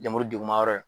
Lemuru deguma yɔrɔ ye